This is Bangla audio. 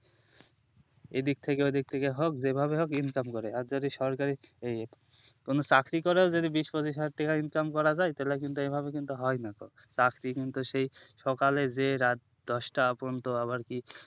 এদিক থেকে ওদিক থেকে হোক যেভাবে হোক income করে আর যদি সরকারি কোনো চাকরি করা যদি বিশ পঁচিশ হাজার টাকা income করা যায় তাহলে কিন্তু এভাবে কিন্তু হয় নাখো চাকরি কিন্তু সেই সকালে যে রাত দশটা পর্যন্ত